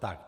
Tak.